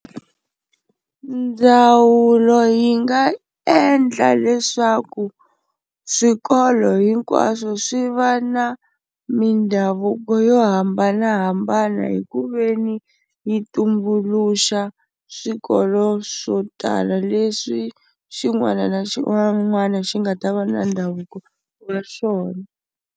Ndzawulo yi nga endla leswaku swikolo hinkwaswo swi va na mindhavuko yo hambanahambana hi ku ve ni yi tumbuluxa swikolo swo tala leswi xin'wana na xin'wana xi nga ta va na ndhavuko wa xona.